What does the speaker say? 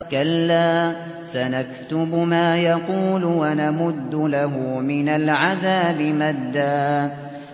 كَلَّا ۚ سَنَكْتُبُ مَا يَقُولُ وَنَمُدُّ لَهُ مِنَ الْعَذَابِ مَدًّا